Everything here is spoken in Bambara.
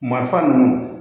Marifa ninnu